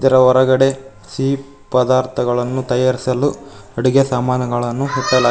ಅದರ ಹೊರಗಡೆ ಸಿಹಿ ಪದಾರ್ಥಗಳನ್ನು ತಯಾರಿಸಲು ಅಡುಗೆ ಸಾಮಾನುಗಳನ್ನು ಇರಿಸ--